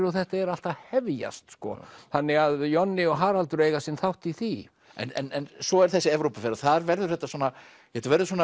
og þetta er allt að hefjast þannig að Jonni og Haraldur eiga sinn þátt í því en svo er þessi Evrópuferð og þar verður þetta svona þetta verður svona